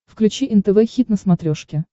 включи нтв хит на смотрешке